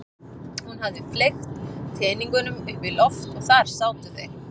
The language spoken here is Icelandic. Hún hafði fleygt teningunum upp í loft og þar sátu þeir.